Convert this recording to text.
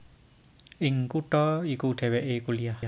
Ing kutha iku dhèwèké kuliah